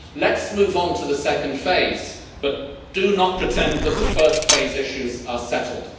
Let's move on to the second phase, but do not pretend that the first phase issues are settled.